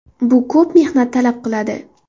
Bu ko‘p mehnat talab qiladi.